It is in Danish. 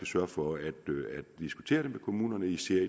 sørge for at diskutere det med kommunerne især